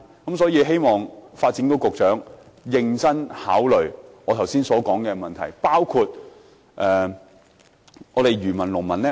因此，我希望發展局局長認真考慮我剛才提出的問題。